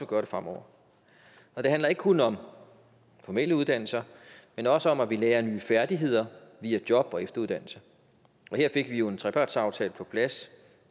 gøre det fremover og det handler ikke kun om formelle uddannelser men også om at vi lærer nye færdigheder via job og efteruddannelse og her fik vi jo en trepartsaftale på plads